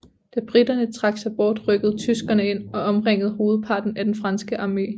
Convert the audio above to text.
Da briterne trak sig bort rykkede tyskerne ind og omringede hovedparten af den franske armé